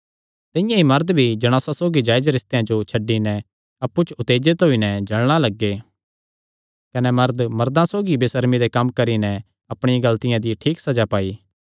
तिंआं ई मरद भी जणासां सौगी जायज रिस्तेयां जो छड्डी नैं अप्पु च उत्तेजित होई नैं जल़णा लग्गे कने मरद मर्दां सौगी बेसर्मी दे कम्म करी नैं अपणिया गलतिया दी ठीक सज़ा पाई